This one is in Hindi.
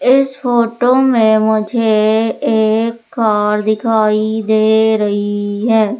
इस फोटो में मुझे एक कार दिखाई दे रही है।